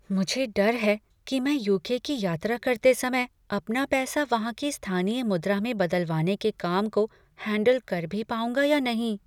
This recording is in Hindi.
मुझे डर है कि मैं यू. के. की यात्रा करते समय अपना पैसा वहाँ की स्थानीय मुद्रा में बदलवाने के काम को हैंडल कर भी पाऊंगा या नहीं।